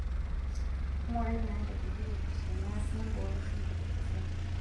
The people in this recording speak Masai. Ngurai naatejoki tenias nimbooyo shumbi tosesen.